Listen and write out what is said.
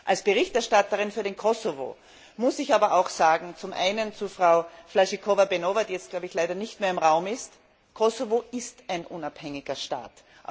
Als Berichterstatterin für den Kosovo muss ich aber auch sagen, zum einen zu Frau Flašíková Beňová, die jetzt, glaube ich, leider nicht mehr im Raum ist Kosovo ist ein unabhängiger Staat.